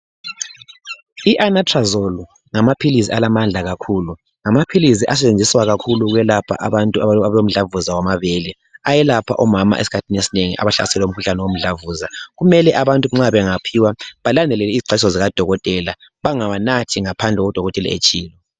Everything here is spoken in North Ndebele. I Anastrozole ngamaphilisi alamandla kakhulu ngamaphilisi asetshenziswa kakhulu ukwelapha abantu abalemhlambuza wamabele ayelapha omama eskhathini esinengi abahlaselwe ngumkhuhlane womdlambuza kumele abantu nxa bangawuphiwa balandele iziqwayiso baziphiwa ngodokotela bangawanathi ngaphandle udokotela etshilo